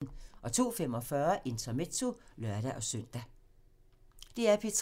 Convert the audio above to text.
DR P3